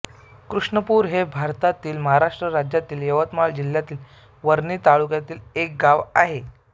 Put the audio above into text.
कृष्णनपूर हे भारतातील महाराष्ट्र राज्यातील यवतमाळ जिल्ह्यातील वणी तालुक्यातील एक गाव आहे